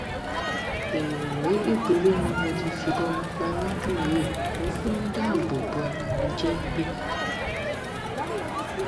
èèyàn méjì péré ni mo ti fìbọn mi pa lọdún yìí mo fi ń dáàbò bo ara mi jembe